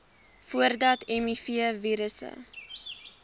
voordat nuwe mivirusse